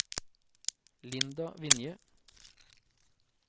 Linda Vinje